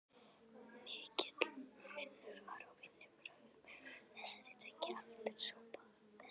Mikill munur var á vinnubrögðum þessara tveggja aldurshópa.